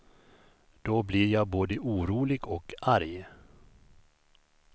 Då blir jag både orolig och arg.